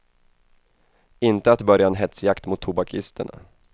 Inte att börja en hetsjakt mot tobakisterna.